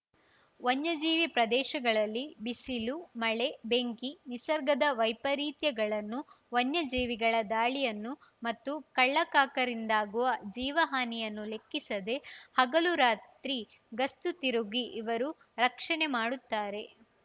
ವನ್ಯಜೀವಿ ಪ್ರದೇಶಗಳಲ್ಲಿ ಬಿಸಿಲು ಮಳೆ ಬೆಂಕಿ ನಿಸರ್ಗದ ವೈಪರೀತ್ಯಗಳನ್ನು ವನ್ಯಜೀವಿಗಳ ದಾಳಿಯನ್ನು ಮತ್ತು ಕಳ್ಳಕಾಕರಿಂದಾಗುವ ಜೀವ ಹಾನಿಯನ್ನೂ ಲೆಕ್ಕಿಸದೆ ಹಗಲು ರಾತ್ರಿ ಗಸ್ತು ತಿರುಗಿ ಇವರು ರಕ್ಷಣೆ ಮಾಡುತ್ತಾರೆ